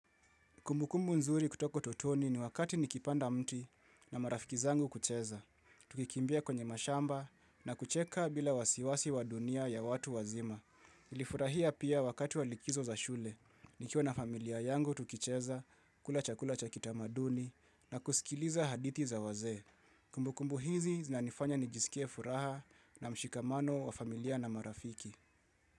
Kumbukumbu nzuri kutoko totoni ni wakati nikipanda mti na marafiki zangu kucheza. Tukikimbia kwenye mashamba na kucheka bila wasiwasi wa dunia ya watu wazima. Nilifurahia pia wakati wa likizo za shule. Nikiwa na familia yangu tukicheza, kula chakula cha kitamaduni na kusikiliza hadithi za waze. Kumbukumbu hizi zinanifanya nijisikie furaha na mshikamano wa familia na marafiki.